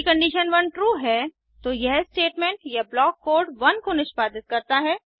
यदि condition one true है तो यह स्टेटमेंट या ब्लॉक कोड 1 को निष्पादित करता है